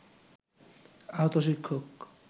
আহত শিক্ষক